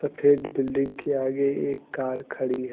सफेद बिल्डिंग के आगे एक कार खड़ी है।